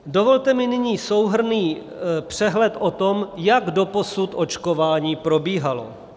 Dovolte mi nyní souhrnný přehled o tom, jak doposud očkování probíhalo.